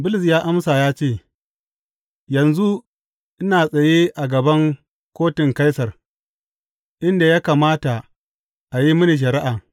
Bulus ya amsa ya ce, Yanzu ina tsaye a gaban kotun Kaisar, inda ya kamata a yi mini shari’a.